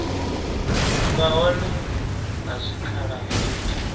vha hone ha zwikhala zwa